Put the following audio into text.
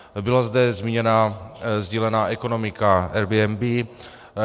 Byla zde zmíněna sdílená ekonomika, Airbnb.